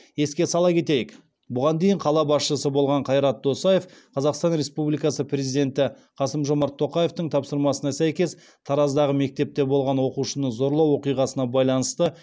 еске сала кетейік бұған дейін қала басшысы болған қайрат досаев қазақстан республикасы президенті қасым жомарт тоқаевтың тапсырмасына сәйкес тараздағы мектепте болған оқушыны зорлау оқиғасына байланысты